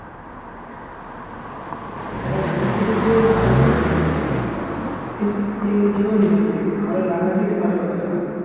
একটা বন্ধুত্ব থেকে ভালো লাগা হয় এমনি যেকোনো জিনিস থেকে ভালো লাগা থেকে ভালোবাসাটা হয়